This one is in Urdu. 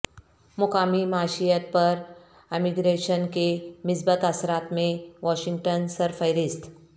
مقامی معیشت پر امیگریشن کے مثبت اثرات میں واشنگٹن سر فہرست